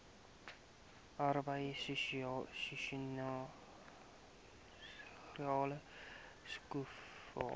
arbeid seisoensarbeid skoffel